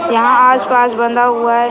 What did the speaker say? यहा आस-पास बंधा हुआ है।